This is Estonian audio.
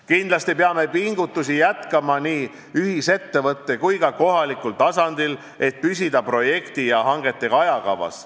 Kindlasti peame pingutusi jätkama nii ühisettevõtte kui ka kohalikul tasandil, et püsida projekti ja hangetega ajakavas.